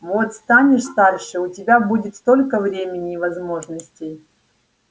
вот станешь старше у тебя будет столько времени и возможностей